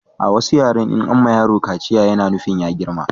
A wasu yaren in an ma yaro kaciya ya na nufin ya girma